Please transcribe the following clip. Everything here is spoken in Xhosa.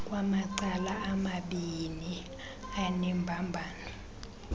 kwamacala amabiini anembambano